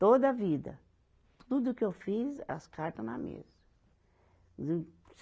Toda a vida, tudo que eu fiz, as carta na mesa.